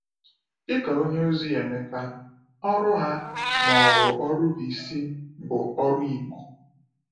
Dị ka onyeozi Emeka, ọrụ ha, ma ọ bụ ọrụ bụ isi, bụ ọrụ Igbo.